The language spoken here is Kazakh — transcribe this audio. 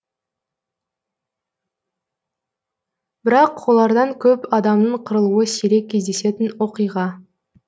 бірақ олардан көп адамның қырылуы сирек кездесетін оқиға